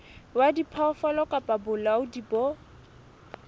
wa diphoofolo kapa bolaodi bo